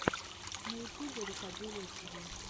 на ютубе рукоделие тиви